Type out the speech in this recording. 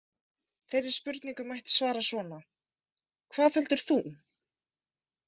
Þeirri spurningu mætti svara svona: Hvað heldur þú?